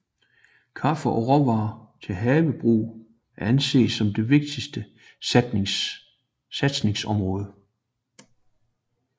Kaffe og råvarer til havebrug er anset som de vigtigste satsningsområder